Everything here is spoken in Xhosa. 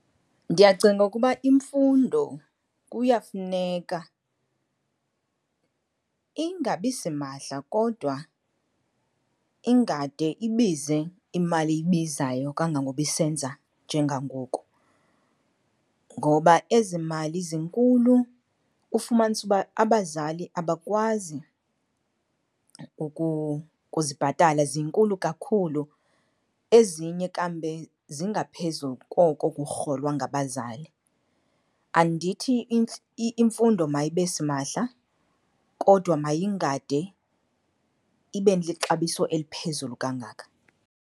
Ndiyacinga ukuba imfundo kuyafuneka ingabisimahla kodwa ingade ibize imali ebizayo kangangoba isenza njengangoku. Ngoba ezi mali zinkulu, ufumanise uba abazali abakwazi ukuzibhatala, zinkulu kakhulu, ezinye kambe zingaphezu koko kurholwa ngabazali. Andithi imfundo mayibe simahla kodwa mayingade ibe lixabiso eliphezulu kangaka.